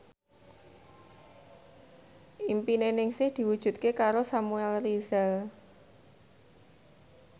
impine Ningsih diwujudke karo Samuel Rizal